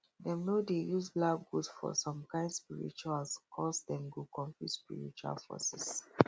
dem no dey use black goat for some kind rituals coz dem go confuse spiritual forces